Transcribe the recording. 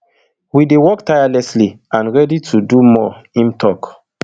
we dey work tirelessly and ready to do more im tok